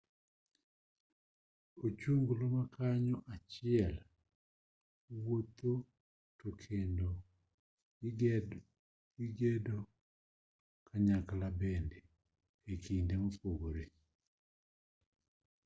ochunglo makanyo achiel wuotho tokendo gigedo kanyakla bende ekinde mopogore